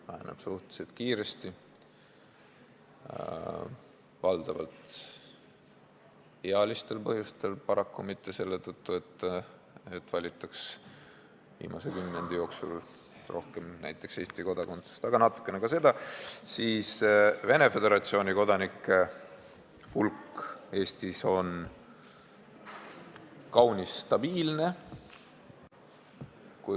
Ja väheneb suhteliselt kiiresti – valdavalt ealistel põhjustel ja paraku mitte selle tõttu, et viimase kümnendi jooksul oleks valitud rohkem näiteks Eesti kodakondsust, aga natukene on ka seda –, seevastu Venemaa Föderatsiooni kodanike hulk on Eestis kaunis stabiilne.